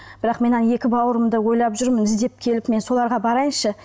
бірақ мен ана екі бауырымды ойлап жүрмін іздеп келіп мен соларға барайыншы